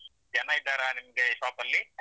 ಜನ ಇದ್ದಾರಾ ನಿಮ್ಗೆ ಶಾಪ್ ಅಲ್ಲಿ?